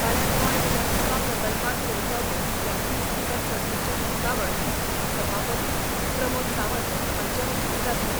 फाल्यां गोंय विधानसभा प्रकल्पांत सुरू जावपी विद्यार्थी संसद सर्तीचें उकतावण सभापती प्रमोद सावंत हांचे हस्तुकीं जातलें.